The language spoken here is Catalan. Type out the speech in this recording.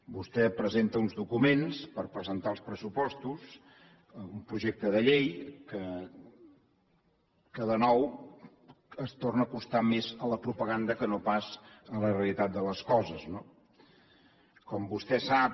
vostè presenta uns documents per presentar els pressupostos un projecte de llei que de nou es torna a acostar més a la propaganda que no pas a la realitat de les coses no com vostè sap